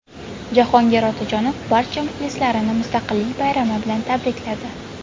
Jahongir Otajonov barcha muxlislarini Mustaqillik bayrami bilan tabrikladi.